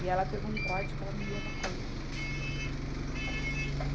E ela pegou um corte que ela não ia dar conta.